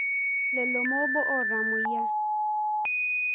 Lelo mobo otamoyia.